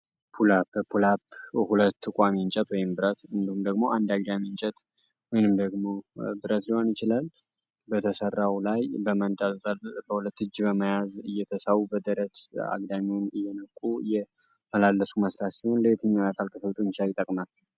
ፑላፕ ፑላፕ ሁለት ቋሚ እንጨት ወይም ብረት እንዲሁም ደግሞ አንድ አግዳሚ እንጨት ወይም ደግሞ ብረት ሊሆን ይችላል፤ በተሰራው ላይ በመንጣጠል በሁለት እጅ በመያዝ እየተሳቡ በደረት አግዳሚን እየነቁ የመላለሱ መስራት ሲሆን፤ ለትኛው አካል ክፍል ጡንቻ ይጠቅናል?